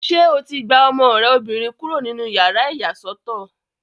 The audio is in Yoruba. Ṣé o ti gba ọmọ rẹ obìnrin kúrò nínú yàrá ìyàsọ́tọ̀?